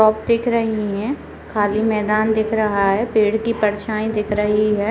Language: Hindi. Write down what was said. दिख रही है खाली मैदान दिख रहा है पेड़ की परछाई दिख रही है।